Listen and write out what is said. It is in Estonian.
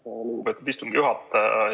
Aitäh, lugupeetud istungi juhataja!